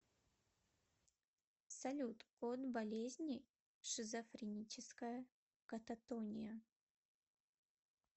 салют код болезни шизофреническая кататония